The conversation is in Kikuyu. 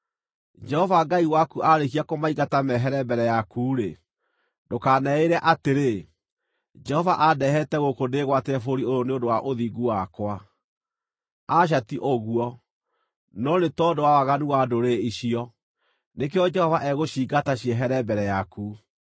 Jehova Ngai waku aarĩkia kũmaingata mehere mbere yaku-rĩ, ndũkaneĩĩre atĩrĩ, “Jehova andehete gũkũ ndĩĩgwatĩre bũrũri ũyũ nĩ ũndũ wa ũthingu wakwa.” Aca, ti ũguo, no nĩ tondũ wa waganu wa ndũrĩrĩ icio, nĩkĩo Jehova egũciingata ciehere mbere yaku.